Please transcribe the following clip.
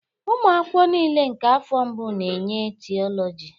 Ụmụ akwụkwọ niile nke afọ mbụ na-enye Theology